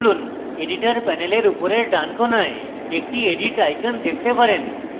editor panel উপরের ডান কোণায় একটি edit icon দেখতে পারেন